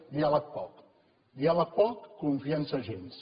diàleg poc diàleg poc confiança gens